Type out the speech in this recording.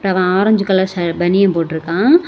Orange colour பனியன் போட்டு இருக்கா.